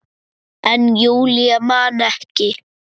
En Júlía man ekki.